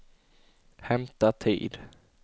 hämta tid